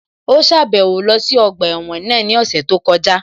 Ó sàbẹ̀wo lọ sí ọgbà ẹ̀wọ̀n náà ní ọ̀sẹ̀ tó kọjá